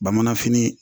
Bamananfini